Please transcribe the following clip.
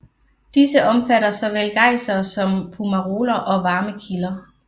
Disse omfatter såvel gejsere som fumaroler og varme kilder